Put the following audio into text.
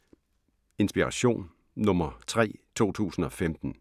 Inspiration nr. 3 2015